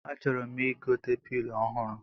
A chọrọ m igote pilo ọhụrụ